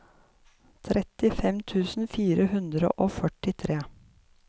trettifem tusen fire hundre og førtitre